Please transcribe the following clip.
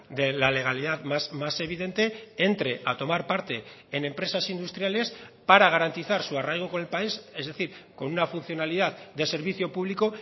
de la legalidad más evidente entre a tomar parte en empresas industriales para garantizar su arraigo con el país es decir con una funcionalidad de servicio público